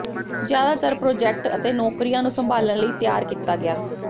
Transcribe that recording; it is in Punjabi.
ਜ਼ਿਆਦਾਤਰ ਪ੍ਰੋਜੈਕਟ ਅਤੇ ਨੌਕਰੀਆਂ ਨੂੰ ਸੰਭਾਲਣ ਲਈ ਤਿਆਰ ਕੀਤਾ ਗਿਆ